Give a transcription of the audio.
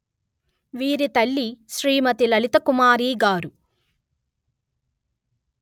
వీరి తల్లి శ్రీమతి లలితకుమారి గారు